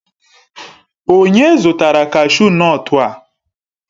Onye zụtara kashu nọtu a?